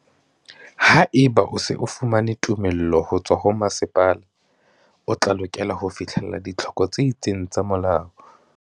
Haeba o se o fumane tumello ho tswa ho masepala, o tla lokela ho fihlella ditlhoko tse itseng tsa molao.